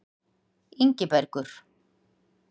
Ingibergur